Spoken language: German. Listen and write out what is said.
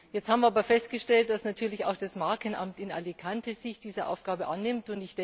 Jetzt haben wir aber festgestellt, dass natürlich auch das Markenamt in Alicante sich dieser Aufgabe annimmt.